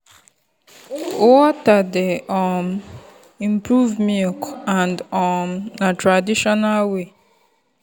water dey um improve milk and um na traditional way.